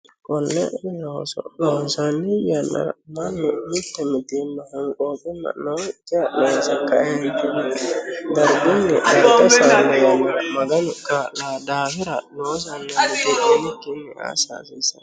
konne looso loonsanni yannara mannu mitte mitiimma honqooqimma nookkiha loose kaeentinni dargunni darga iillishanno yannara maganu kaa'lano daafira loosanna mitiimminikkinni assa hasiissanno.